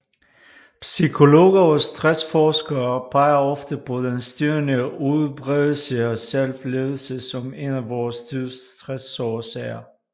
Psykologer og stressforskere peger ofte på den stigende udbredelse af selvledelse som en af vor tids stressårsager